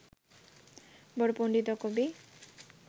বড় পণ্ডিত ও কবি